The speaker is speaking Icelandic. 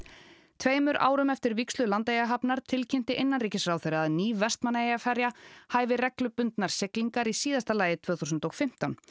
tveimur árum eftir vígslu Landeyjahafnar tilkynnti innanríkisráðherra að ný Vestmannaeyjaferja hæfi reglubundnar siglingar í síðasta lagi tvö þúsund og fimmtán